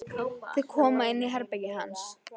Þau koma inn í herbergið hans.